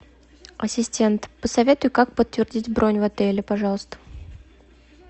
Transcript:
ассистент посоветуй как подтвердить бронь в отеле пожалуйста